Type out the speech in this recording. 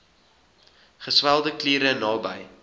geswelde kliere naby